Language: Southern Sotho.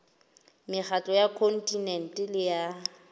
mekgatlo ya kontinente le ya